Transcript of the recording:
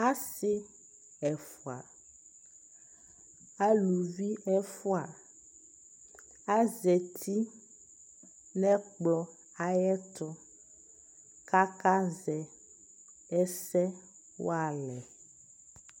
asii ɛƒʋa, alʋvi ɛƒʋa, azati nʋɛkplɔ ayɛtʋ kʋ aka zɛ ɛsɛ walɛ